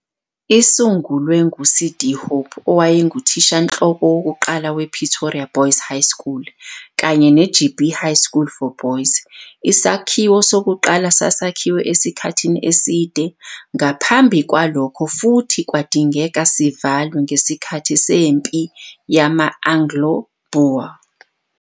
Isungulwe ngu-C.D. Hope, owayenguthishanhloko wokuqala we-Pretoria Boys High School kanye ne-I-Jeppe High School for Boys, isakhiwo sokuqala sasakhiwe esikhathini eside ngaphambi kwalokho futhi kwadingeka sivalwe ngesikhathi sempi yama-Anglo-Boer.